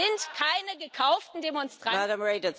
Das sind keine gekauften Demonstranten.